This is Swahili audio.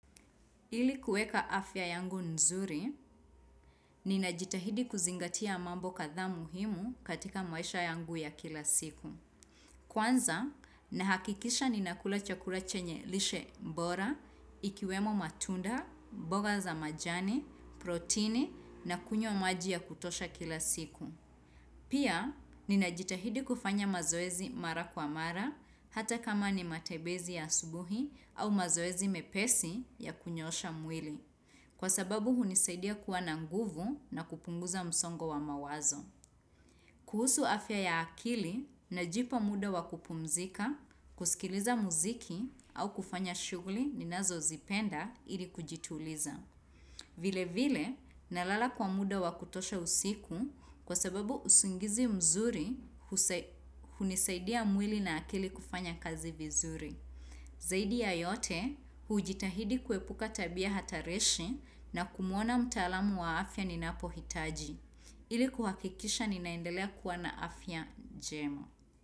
Ili kuweka afya yangu nzuri, ninajitahidi kuzingatia mambo kathaa muhimu katika maisha yangu ya kila siku. Kwanza, nahakikisha ninakula chakula chenye lishe mbora, ikiwemo matunda, boga za majani, protini na kunywa maji ya kutosha kila siku. Pia, ninajitahidi kufanya mazoezi mara kwa mara hata kama ni matebezi ya asubuhi au mazoezi mepesi ya kunyosha mwili. Kwa sababu hunisaidia kuwa na nguvu na kupunguza msongo wa mawazo. Kuhusu afya ya akili na jipa muda wakupumzika, kusikiliza muziki au kufanya shuguli ninazo zipenda ili kujituliza. Vile vile nalala kwa muda wakutosha usiku kwa sababu usingizi mzuri husa hunisaidia mwili na akili kufanya kazi vizuri. Zaidi ya yote, hujitahidi kuepuka tabia hatarishi na kumuona mtaalamu wa afya ninapo hitaji. Ili kuhakikisha ninaendelea kuwa na afya jemo.